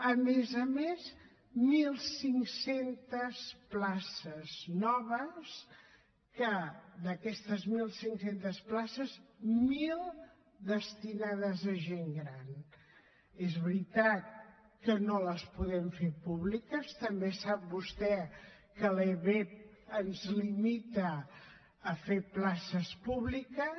a més a més mil cinc cents places noves que d’aquestes mil cinc cents places mil destinades a gent gran és veritat que no les podem fer públiques també sap vostè que la lebep ens limita a fer places públiques